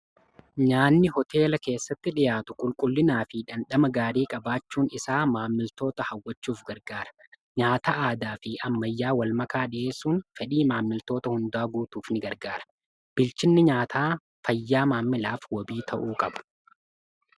nyaanni hoteela keessatti dhiyaatu qulqullinaa fi dhandhama gaarii qabaachuun isaa maamiltoota hawwachuuf gargaara nyaata aadaa fi ammayyaa wal makaa dhi'eessuun fedhii maamiltoota hundaa guutuuf ni gargaara bilchinni nyaataa fayyaa maamilaaf wabii ta'uu qaba